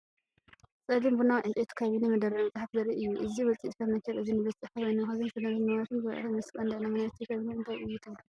ጸሊም ቡናዊ ዕንጨይቲ ካቢነ/መደርደሪ መጻሕፍቲ ዘርኢ እዩ። እዚ ውፅኢት ፈርኒቸር እዚ ንቤት ጽሕፈት ወይ ንመኽዘን ሰነዳትን ንዋትን ዝውዕል ይመስል። ቀንዲ ዕላማ ናይቲ ካብኔት እንታይ እዩ ትብሉ?